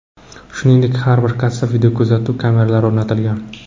Shuningdek, har bir kassaga videokuzatuv kameralari o‘rnatilgan.